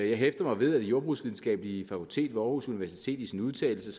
jeg hæftede mig ved at det jordbrugsvidenskabelige fakultet ved aarhus universitet i sin udtalelse